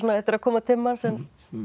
þetta er að koma til manns en